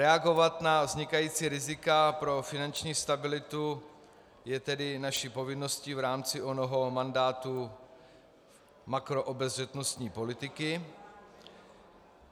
Reagovat na vznikající rizika pro finanční stabilitu je tedy naší povinností v rámci onoho mandátu makroobezřetnostní politiky.